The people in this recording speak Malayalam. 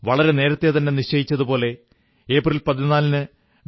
വളരെ നേരത്തേ തന്നെ നിശ്ചയിച്ചതുപോലെ ഏപ്രിൽ 14 ന് ഡോ